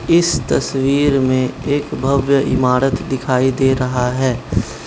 इस तस्वीर में एक भव्य इमारत दिखाई दे रहा है।